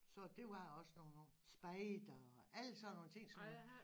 Så det var jeg også nogen år spejder og alle sådan nogle ting som